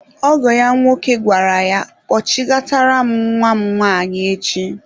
Ọgọ ya nwoke gwara ya, kpọchighatara m nwa m nwanyị echi!